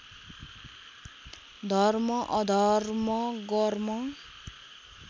धर्म अधर्म गर्म